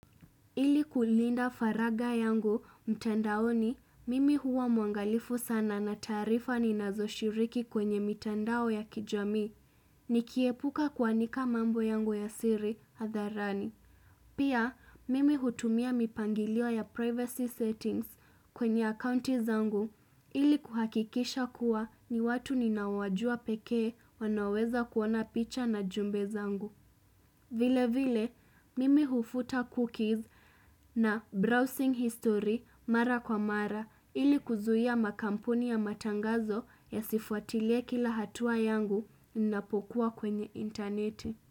Ili kulinda faragha yangu, mtandaoni, mimi huwa mwangalifu sana na taarifa ninazo shiriki kwenye mitandao ya kijamii. Nikiepuka kuanika mambo yangu ya siri, hadharani. Pia, mimi hutumia mipangilio ya privacy settings kwenye akaunti zangu. Ili kuhakikisha kuwa ni watu ninaowajua pekee wanaweza kuona picha na jumbe zangu. Vile vile, mimi hufuta cookies na browsing history mara kwa mara ili kuzuia ma kampuni ya matangazo yasifuatilie kila hatua yangu napokua kwenye interneti.